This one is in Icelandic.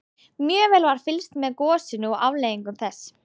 Mjög vel var fylgst með gosinu og afleiðingum þess.